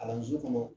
Kalanso kɔnɔ